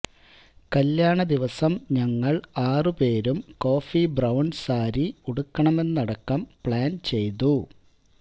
കല്യാണ ദിവസം ഞങ്ങള് ആറുപേരും കോഫി ബ്രൌണ് സാരി ഉടുക്കണമെന്നതടക്കം പ്ലാന് ചെയ്തു